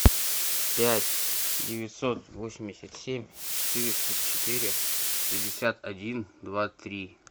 пять девятьсот восемьдесят семь четыреста четыре шестьдесят один два три